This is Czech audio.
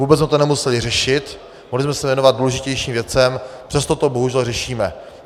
Vůbec jsme to nemuseli řešit, mohli jsme se věnovat důležitějším věcem, přesto to bohužel řešíme.